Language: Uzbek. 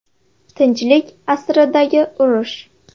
Tinchlik asridagi urush.